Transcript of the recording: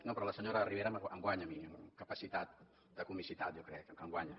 no però la senyora ribera em guanya a mi en capacitat de comicitat jo crec em guanya